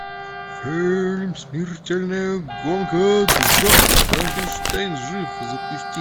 фильм смертельная гонка два франкенштейн жив запусти